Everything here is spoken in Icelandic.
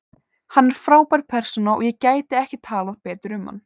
Hann er frábær persóna og ég gæti ekki talað betur um hann.